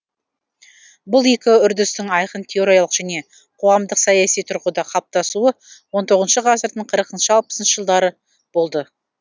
бұл екі үрдістің айқын теориялық және қоғамдық саяси тұрғыда қалыптасуы он тоғызыншы ғасырдың қырықыншы алпысыншы жылдары болды